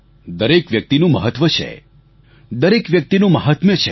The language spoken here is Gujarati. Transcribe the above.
દરેક વ્યક્તિનું મહત્વ છે દરેક વ્યક્તિનું મહાત્મ્ય છે